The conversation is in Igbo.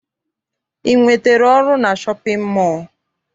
I nwetere ọrụ na shọpịn mọọ?